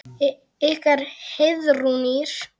Ykkar Heiðrún Ýrr.